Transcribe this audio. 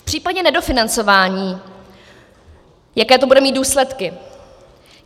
V případě nedofinancování - jaké to bude mít důsledky?